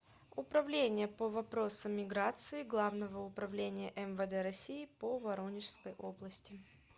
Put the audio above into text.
управление по вопросам миграции главного управления мвд россии по воронежской области